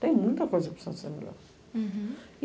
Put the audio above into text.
Tem muita coisa que precisa ser melhorado. Hurum.